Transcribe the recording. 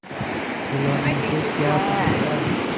खिलौने से क्या फ़ायदा